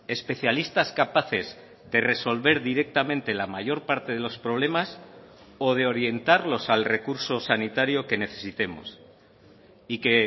especialistas capaces de resolver directamente la mayor parte de los problemas o de orientarlos al recurso sanitario que necesitemos y que